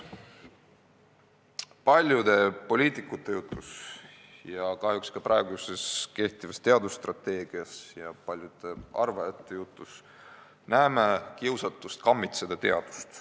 Paljude poliitikute jutus ja kahjuks ka kehtivas teadusstrateegias ja paljude arvajate jutus näeme kiusatust kammitseda teadust.